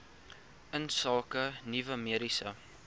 insake nuwe mediese